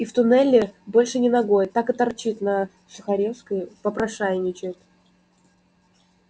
и в туннели больше ни ногой так и торчит на сухаревской попрошайничает